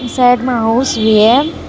Side मा house भी है।